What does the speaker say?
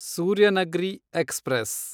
Suryanagri express